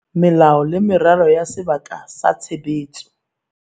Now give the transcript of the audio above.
Melao le meralo ya sebaka sa tshebetso